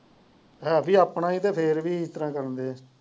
ਹੈ ਵੀ ਆਪਣਾ ਹੀ ਤੇ ਫੇਰ ਵੀ ਇਸ ਤਰਾਂ ਕਰਨ